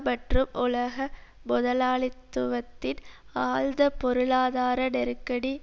மற்றும் உலக முதலாளித்துவத்தின் ஆழ்ந்த பொருளாதார நெருக்கடி